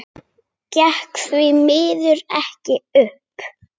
Gekk því miður ekki upp.